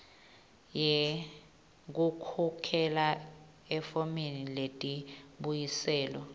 yekukhokhela efomini letimbuyiselo